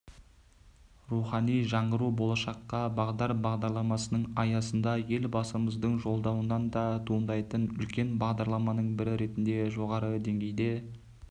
рухани жаңғыру болашаққа бағдар бағдарламасының аясында елбасымыздың жолдауынан да туындайтын үлкен бағдарламаның бірі ретінде жоғарғы деңгейде